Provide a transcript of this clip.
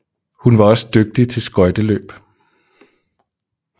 Hun var også dygtig til skøjteløb